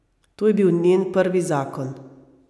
To je bil njen prvi zakon.